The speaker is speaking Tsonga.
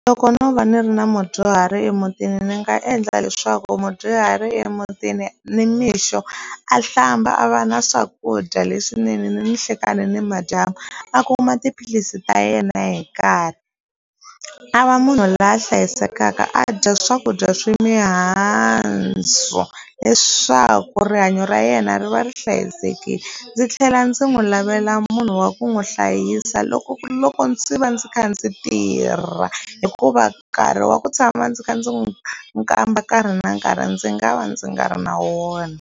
Loko no va ni ri na mudyuhari emutini ni nga endla leswaku mudyuhari emutini ni mixo a hlamba a va na swakudya leswinene ni nhlekani ni madyambu a kuma tiphilisi ta yena hi nkarhi a va munhu loyi a hlayisekaka a dya swakudya swa mihandzu leswaku rihanyo ra yena ri va ri hlayisekile ndzi tlhela ndzi n'wi lavela munhu wa ku n'wi hlayisa loko loko ndzi va ndzi kha ndzi tirha hikuva nkarhi wa ku tshama ndzi kha ndzi n'wi nwi kamba nkarhi na nkarhi ndzi nga va ndzi nga ri na wona.